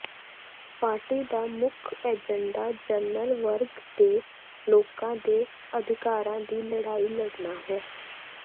party ਦਾ ਮੁੱਖ agenda general ਵਰਗ ਦੇ ਲੋਕਾਂ ਦੇ ਅਧਿਕਾਰਾਂ ਦੀ ਲੜਾਈ ਲੜਨਾ ਹੈ